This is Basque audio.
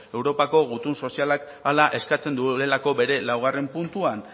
europako gutun sozialak hala eskatzen duelako bere laugarrena puntuan